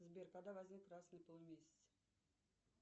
сбер когда возник красный полумесяц